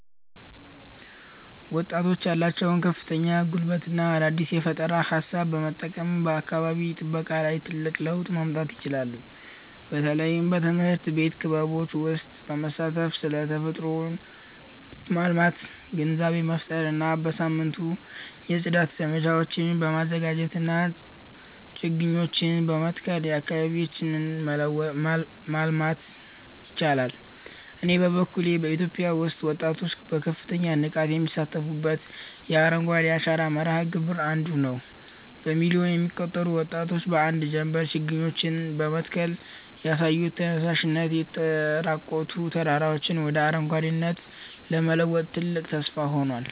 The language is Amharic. ወጣቶች ያላቸውን ከፍተኛ ጉልበትና አዲስ የፈጠራ ሃሳብ በመጠቀም በአካባቢ ጥበቃ ላይ ትልቅ ለውጥ ማምጣት ይችላሉ። በተለይም በትምህርት ቤት ክበቦች ውስጥ በመሳተፍ ስለ ተፈጥሮን ማልማት ግንዛቤ መፍጠር እና በየሳምንቱ የጽዳት ዘመቻዎችን በማዘጋጀትና ችግኞችን በመትከል አካባቢያቸውን ማለምለል ይችላሉ። እኔ በበኩሌ በኢትዮጵያ ውስጥ ወጣቶች በከፍተኛ ንቃት የሚሳተፉበትን የአረንጓዴ አሻራ መርሃ ግብር 1ዱ ነዉ። በሚሊዮን የሚቆጠሩ ወጣቶች በአንድ ጀምበር ችግኞችን በመትከል ያሳዩት ተነሳሽነት፣ የተራቆቱ ተራራዎችን ወደ አረንጓዴነት ለመለወጥ ትልቅ ተስፋ ሆኗል።